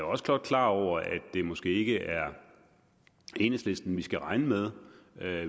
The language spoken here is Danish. også godt klar over at det måske ikke er enhedslisten vi skal regne med